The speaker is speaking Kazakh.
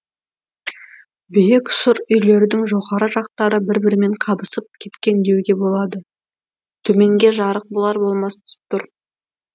биік сұр үйлердің жоғары жақтары бір бірімен қабысып кеткен деуге болады төменге жарық болар болмас түсіп тұр